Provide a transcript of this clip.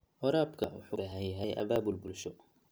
Waraabka waxa uu u baahan yahay abaabul bulsho.